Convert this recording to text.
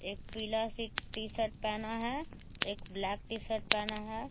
एक पीला सी टी-शर्ट पहना है एक ब्लैक टी-शर्ट पहना है।